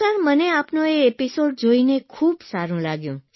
તો સર મને આપનો એ એપીસોડ જોઇને ખૂબ સારૂં લાગ્યું